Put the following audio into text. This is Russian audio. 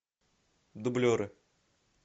дублеры